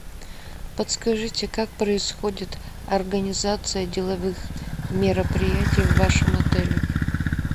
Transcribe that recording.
подскажите как происходит организация деловых мероприятий в вашем отеле